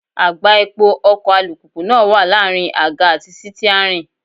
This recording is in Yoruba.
Àgbá epo ọkọ̀ alùpùpù náà wà láàrin àga àti sítíárìn.